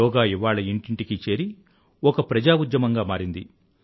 యోగా ఇవాళ ఇంటింటికీ చేరి ఒక ప్రజా ఉద్యమం గా మారింది